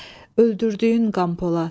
Öldürdüyün Qəmpolad!